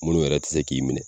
Munnu yɛrɛ te se k'i minɛ